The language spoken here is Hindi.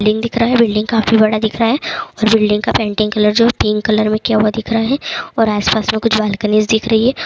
बिल्डिंग दिख रहा है बिल्डिंग काफी बड़ा दिख रहा है और बिल्डिंग का पेंटिंग कलर जो है पिंक कलर में किया हुआ दिख रहा है और आसपास में कुछ बालकनिज दिख रही है।